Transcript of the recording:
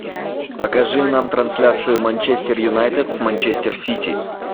покажи нам трансляцию манчестер юнайтед с манчестер сити